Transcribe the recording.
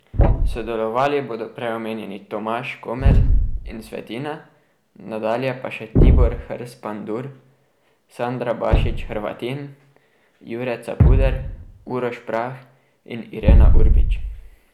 Sodelovali bodo prej omenjeni Tomaš, Komelj in Svetina, nadalje pa še Tibor Hrs Pandur, Sandra Bašić Hrvatin, Jure Capuder, Uroš Prah in Irena Urbič.